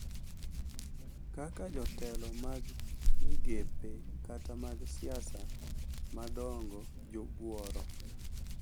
Kaka jotelo mag migepe kata mag siasa madongo jobuoro.